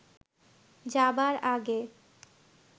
যাবার আগে